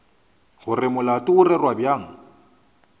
gore molato o rerwa bjang